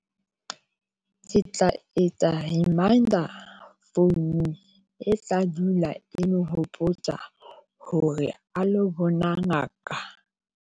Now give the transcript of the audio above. Ke tla etsa reminder founung e tla dula e mo nhopotsa hore a lo bona ngaka.